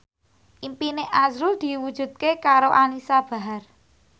impine azrul diwujudke karo Anisa Bahar